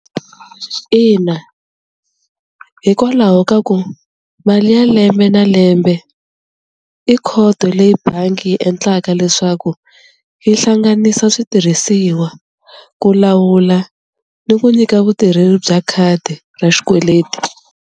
Ina, hikwalaho ka ku mali ya lembe na lembe i khoto leyi bangi yi endlaka leswaku yi hlanganisa switirhisiwa ku lawula ni ku nyika vutirheli bya khadi ra xikweleti.